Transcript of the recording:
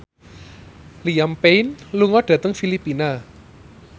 Liam Payne lunga dhateng Filipina